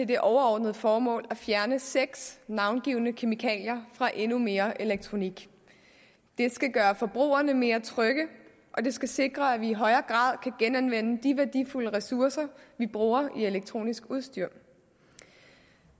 det overordnede formål at fjerne seks navngivne kemikalier fra endnu mere elektronik det skal gøre forbrugerne mere trygge og det skal sikre at vi i højere grad kan genanvende de værdifulde ressourcer vi bruger i elektronisk udstyr